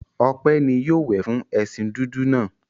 Ope ni yóò wẹ̀ fún ẹṣin dúdú náà.